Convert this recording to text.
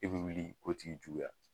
E be wuli k'o tigi juguya